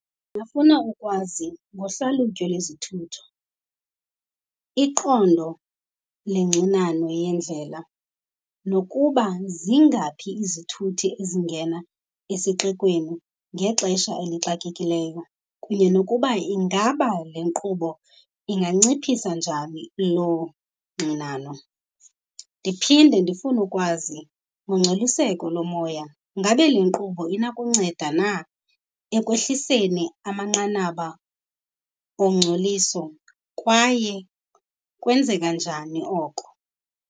Ndingafuna ukwazi ngohlalutyo lwezithuthi, iqondo lengxinano yendlela, nokuba zingaphi izithuthi ezingena esixekweni ngexesha elixakekileyo, kunye nokuba ingaba le nkqubo inganciphisa njani loo ngxinano. Ndiphinde ndifune ukwazi ngongcoliseko lomoya. Ngabe le nkqubo inakunceda na ekwehliseni amanqanaba ongcoliso kwaye kwenzeka njani oko?